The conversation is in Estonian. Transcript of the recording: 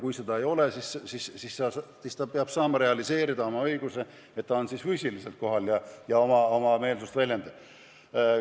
Kui seda võimalust ei ole, siis peab inimene saama füüsiliselt kohale tulla ja oma meelsust väljendada.